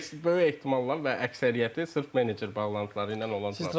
Böyük böyük ehtimalla və əksəriyyəti sırf menecer bağlantıları ilə olan transferlərdir.